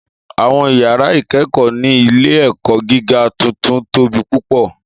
Àwọn yàrá ìkẹ́kọ̀ọ́ ní ilé-ẹ̀kọ́ gíga tuntun tóbi púpọ̀.